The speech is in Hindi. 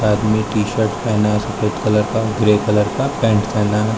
आदमी टीशर्ट पहना है सफेद कलर का ग्रे कलर का पैंट पहना है।